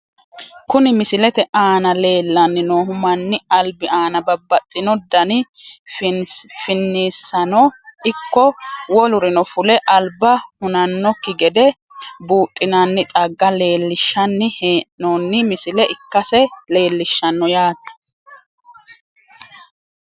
Kuni misilete aana leellanni noohu mannu albi aana babbaxino dani finniissano ikko wolurino fule alba hunannokki gede buudhinanni xagga leelinshanni hee'noonni misile ikkase leelishshanno yaate.